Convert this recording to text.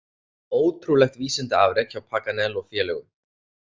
Ótrúlegt vísindaafrek hjá Paganel og félögum.